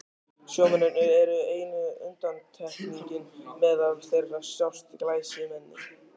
Sjómennirnir eru eina undantekningin, meðal þeirra sjást glæsimenni.